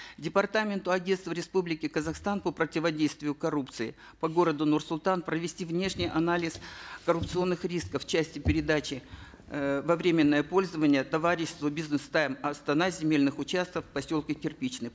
департаменту агентства республики казахстан по противодействию коррупции по городу нур султан провести внешний анализ коррупционных рисков в части передачи э во временное пользование товариществу бизнес тайм астана земельных участков в поселке кирпичный